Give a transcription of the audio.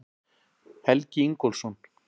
Helgi Ingólfsson.